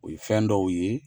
O ye fɛn dɔw ye